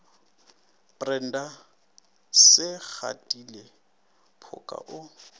brenda se gatile phoka o